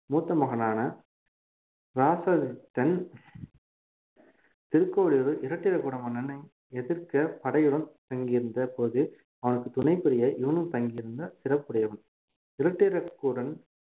மூத்த மகனான இராசாதித்தன் திருக்கோவிலூரில் இராட்டிரகூட மன்னனை எதிர்க்க படையுடன் தங்கியிருந்த போது அவனுக்கு துணை புரிய இவனும் தங்கியிருந்த சிறப்புடையவன் இராட்டிரகூடன்